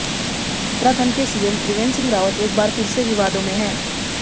उत्तराखंड के सीएम त्रिवेंद्र सिंह रावत एक बार फिर से विवादों में हैं